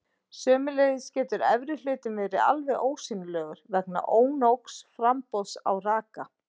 Sömuleiðis getur efri hlutinn verið alveg ósýnilegur vegna ónógs framboðs á raka.